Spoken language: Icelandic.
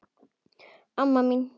Amma mín